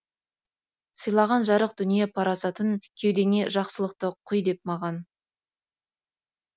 сыйлаған жарық дүние парасатын кеудеңе жақсылықты құй деп маған